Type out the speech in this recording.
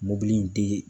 Mobili in te